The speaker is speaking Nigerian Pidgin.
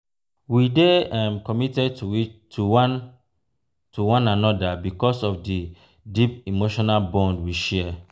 we dey um committed um to one to one another because of di deep emotional bond we share.